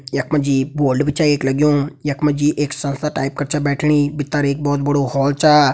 यक मजी बोल्ड भी छ एक लग्युं। यक मजी एक संस्था टाइप कर छ बैठनी। भित्तर एक भोत बड़ो हॉल छा।